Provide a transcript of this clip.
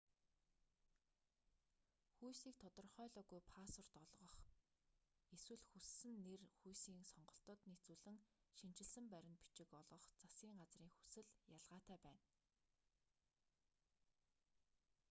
хүйсийг тодорхойлоогүй паспорт олгох x эсвэл хүссэн нэр хүйсийн сонголтод нийцүүлэн шинэчилсэн баримт бичиг олгох засгийн газрын хүсэл ялгаатай байна